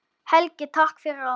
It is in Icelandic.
Helgi, takk fyrir allt.